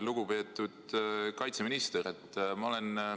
Lugupeetud kaitseminister!